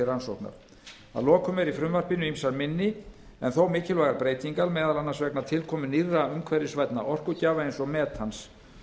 rannsóknar að lokum eru í frumvarpinu ýmsar minni en þó mikilvægar breytingar meðal annars vegna tilkomu nýrra umhverfisvænna orkugjafa eins og metans